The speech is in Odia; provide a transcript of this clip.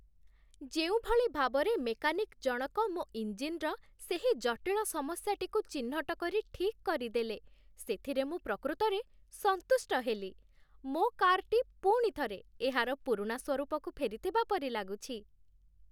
ଯେଉଁଭଳି ଭାବରେ ମେକାନିକ୍ ଜଣକ ମୋ ଇଞ୍ଜିନ୍‌ର ସେହି ଜଟିଳ ସମସ୍ୟାଟିକୁ ଚିହ୍ନଟ କରି ଠିକ୍ କରିଦେଲେ, ସେଥିରେ ମୁଁ ପ୍ରକୃତରେ ସନ୍ତୁଷ୍ଟ ହେଲି, ମୋ କାର୍‌ଟି ପୁଣି ଥରେ ଏହାର ପୁରୁଣା ସ୍ୱରୂପକୁ ଫେରିଥିବା ପରି ଲାଗୁଛି